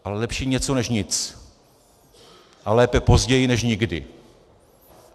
Ale lepší něco než nic a lépe později než nikdy.